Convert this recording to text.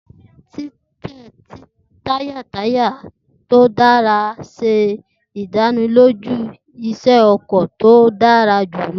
Titẹ taya taya to dara ṣe idaniloju iṣẹ ọkọ ti o dara julọ.